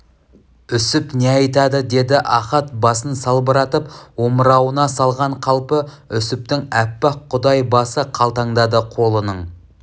үсіп не айтады деді ахат басын салбыратып омырауына салған қалпы үсіптің аппақ құдай басы қалтаңдады қолының